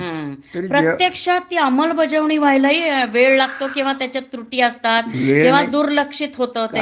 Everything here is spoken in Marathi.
हं प्रत्येक्षात ती अंमलबजावणी व्ह्यालाही वेळ लागतो किंवा त्याच्यात त्रुटी असतात किंवा दुर्लक्षित होत ते